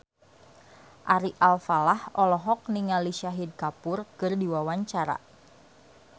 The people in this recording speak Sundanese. Ari Alfalah olohok ningali Shahid Kapoor keur diwawancara